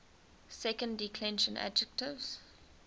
second declension adjectives